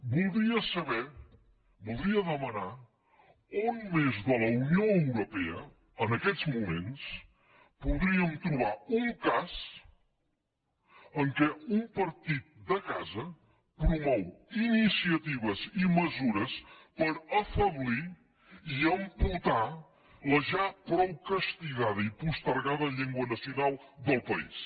voldria saber voldria demanar on més de la unió europea en aquests moments podríem trobar un cas en què un partit de casa promou iniciatives i mesures per afeblir i amputar la ja prou castigada i postergada llengua nacional del país